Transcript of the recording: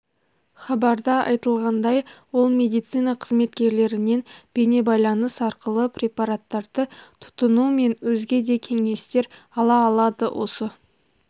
хабарда айтылғандай ол медицина қызметкерлерінен бейнебайланыс арқылы препараттарды тұтыну мен өзге де кеңестер ала алады осы